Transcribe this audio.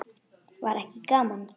Var ekki gaman?